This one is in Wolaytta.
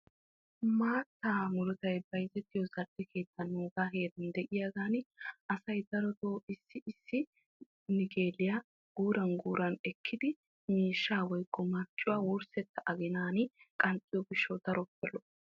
Maata muruttay bayzzettiyo zal'e keettan asay darotto gala gala ekkiddi miishsha aginan aginan qanxxees.